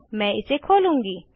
मैं इसे खोलूंगी